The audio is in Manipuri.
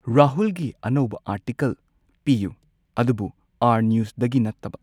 ꯔꯥꯍꯨꯜꯒꯤ ꯑꯅꯧꯕ ꯑꯥꯔꯇꯤꯀꯜ ꯄꯤꯌꯨ ꯑꯗꯨꯕꯨ ꯑꯥꯔ ꯅ꯭ꯌꯨꯁꯗꯒꯤ ꯅꯠꯇꯕ꯫